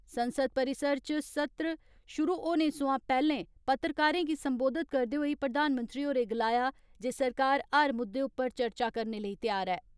संसद परिसरइच सत्र शुरू होने सोयां पैहले पत्रकारें गी संबोधित करदे होई प्रधानमंत्री होरें गलाया जे सरकार हर मुद्दे उप्पर चर्चा करने लेई तैयार ऐ।